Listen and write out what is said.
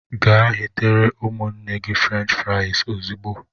Gee ghetere ụmụnne gị fruench frais ozigbo!!!!!